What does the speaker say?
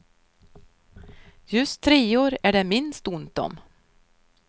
Just treor är det minst ont om.